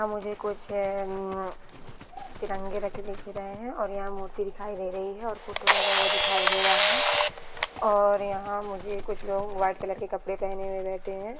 मुझे कुछ तिरंगे रखे दिख रहैं है और यह मूर्ति दिखाई दे रही है और फोटो लगा हुआ दिखाई दे रहा है और यहाँ मुझे कुछ लोग व्हाइट कलर के कपड़े पेहने हुए हैं।